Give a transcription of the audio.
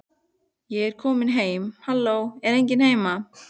Ég er komin heim halló, er enginn heima?